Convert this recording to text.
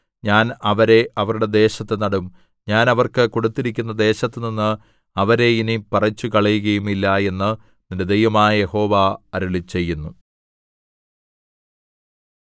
ഞാൻ അവരെ അവരുടെ ദേശത്ത് നടും ഞാൻ അവർക്ക് കൊടുത്തിരിക്കുന്ന ദേശത്തുനിന്ന് അവരെ ഇനി പറിച്ചുകളയുകയുമില്ല എന്ന് നിന്റെ ദൈവമായ യഹോവ അരുളിച്ചെയ്യുന്നു